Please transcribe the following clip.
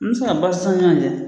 N bɛ se ka ɲɔgɔn cɛ